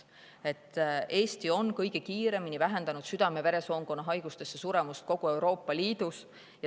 Eesti on kogu Euroopa Liidus kõige kiiremini vähendanud südame-veresoonkonna haigustesse suremust.